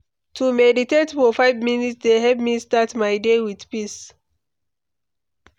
To meditate for five minutes dey help me start my day with peace.